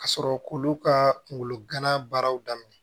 Ka sɔrɔ k'olu ka kungolo gana baaraw daminɛ